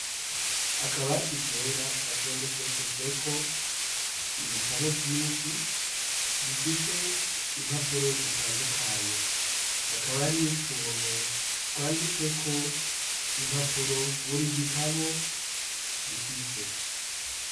Akabati kera gatondekeshejweko ibitabo vyinshi bifise impapuro zitandukanye, hakaba ari utuntu twanditseko impapuro buri gitabo gifise.